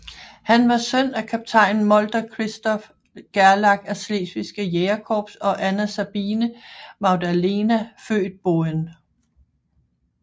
Han var søn af kaptajn Molter Christoph Gerlach af Slesvigske Jægerkorps og Anna Sabine Magdalena født Boehn